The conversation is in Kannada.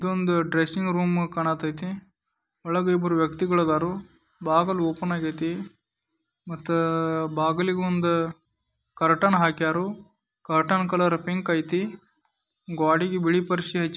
ಇದು ಒಂದು ಡ್ರೆಸ್ಸಿಂಗ್ ರೂಮ್ ಕಾಣತೇತಿ ಒಳಗೆ ಇಬ್ಬರು ವ್ಯಕ್ತಿಗಳು ಅದಾರು ಬಾಗಿಲು ಓಪನ್ ಆಗೈತಿ ಮತ್ತೆ ಬಾಗಿಲು ಒಂದ ಕರ್ಟನ್ ಹಾಕ್ಯಾ ರು ಕಾಟನ್ ಕಲರ್ ಪಿಂಕ್ ಐತಿ ಗ್ವಾಡಿಗೆ ಬಿಳಿ ಪರ್ಸಿ --